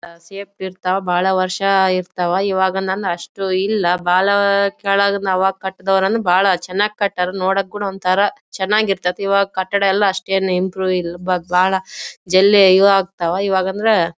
Safety ಇರತ್ವ್ ಬಹಳ ವರ್ಷ ಇರತ್ವ್. ಇವಾಗ ನನ್ನ ಅಷ್ಟು ಇಲ್ಲಾ ಬಹಳ ಕೆಳಗ್ ಆವಾಗ್ ಕಟ್ಟದವ್ರ್ನ್ ಬಹಳ ಚನ್ನಾಗ್ ಕಟ್ಟರ್ ನೋಡಕುನ್ ಒಂತರ ಚನ್ನಾಗಿ ಇರ್ತ್ತತಿ. ಈವಾಗ ಕಟ್ಟಡ ಎಲ್ಲಾ ಅಷ್ಟ ಏನ್ ಇಂಪ್ರೂವ್ ಇಲ್ಲಾ ಬ ಬಾಳ ಜಲ್ಲಿ ಇವಾಗಂದ್ರೆ--